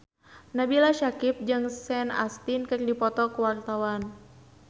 Nabila Syakieb jeung Sean Astin keur dipoto ku wartawan